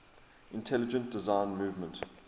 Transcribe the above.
intelligent design movement